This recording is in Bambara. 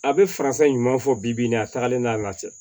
A bɛ faransa ɲuman fɔ bi bi in na a tagalen n'a la